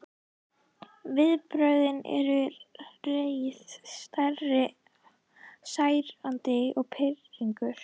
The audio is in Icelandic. Viðbrögðin eru reiði, særindi og pirringur.